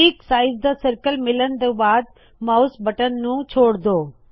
ਠੀਕ ਸਾਈਜ਼ ਦਾ ਸਰਕਲ ਮਿਲਨ ਤੋ ਬਾਦ ਮਾਉਸ ਬਟਨ ਨੂ ਛੋੜ ਦੋ